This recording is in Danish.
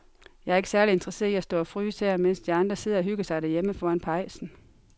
Jeg er ikke særlig interesseret i at stå og fryse her, mens de andre sidder og hygger sig derhjemme foran pejsen.